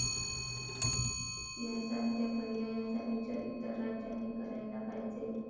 यासारख्या पर्यायाचा विचार इतर राज्यांनी करायला पाहिजे.